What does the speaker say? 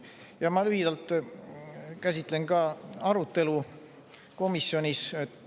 Ja ma lühidalt käsitlen ka arutelu komisjonis.